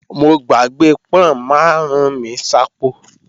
Mo gbàgbé pọ́n máàrún mi sápò